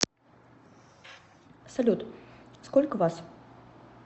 салют сколько вас